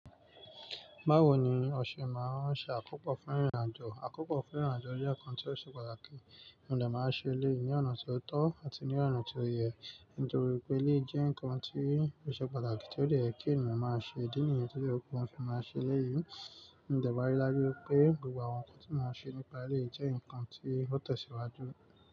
Báwo ni ọṣẹ máa ń ṣe akópọ̀ fún ìrìnàjò? Àkópọ̀ fún ìrìnàjò jẹ́ nǹkan tí ó ṣe pàtàkì, mo de máa n ṣẹ eleyi ní ọ̀nà tí ó tọ́ àti ní ọ̀nà tí ó yẹ. Nítorí wipé eleyii jẹ́ ǹnkan tí ó ṣe pàtàkì tí ó de yè kí ènìyàn máa ṣe, idí nìyẹn to ye kin n fi máa ṣe eleyìí. Mo de maa n rí dájú wipé gbogbo àwọn ǹnkan tí mo ń ṣe nípa eléyìí jẹ́ ǹnkan tí ó tẹ̀síwájú.